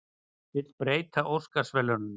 Vill breyta Óskarsverðlaununum